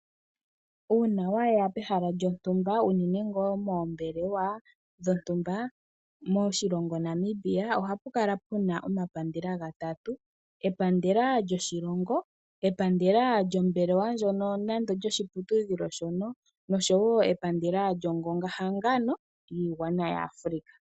Uuna wa ya pehala yontumba unene ngaa poombelewa dhontumba moshilongo Namiba, ohapu kala pu na omapandela gatatu; epandela lyoshilongo, epandela lyombelewa ndjoka nenge lyoshiputudhilo shoka noshowo epandela lyiigwana yahangana yaAfrika.